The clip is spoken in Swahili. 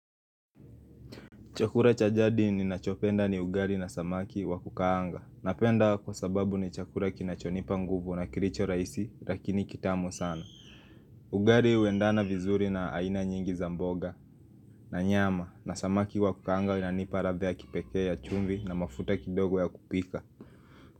Chakula cha jadi ninachopenda ni ugali na samaki wa kukaanga. Napenda kwa sababu ni chakula kinachonipa nguvu na kilicho rahisi lakini kitamu sana. Ugali huendana vizuri na aina nyingi za mboga na nyama na samaki wa kukaanga inanipa ladha ya kipekee ya chumvi na mafuta kidogo ya kupika.